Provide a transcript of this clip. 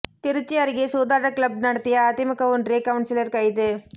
திருச்சி அருகே சூதாட்ட கிளப் நடத்திய அதிமுக ஒன்றிய கவுன்சிலர் கைது